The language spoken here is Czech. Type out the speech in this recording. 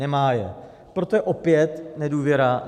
Nemá je, proto je opět nedůvěra.